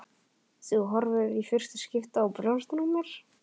Þú horfir í fyrsta skipti á brjóstin á mér.